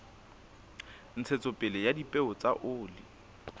ntshetsopele ya dipeo tsa oli